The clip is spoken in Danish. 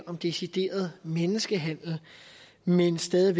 om decideret menneskehandel men stadig